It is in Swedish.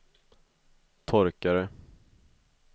torkare